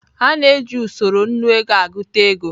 A na-eji usoro Nnu ego agụta ego.